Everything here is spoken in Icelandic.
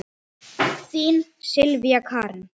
Þín Sylvía Karen.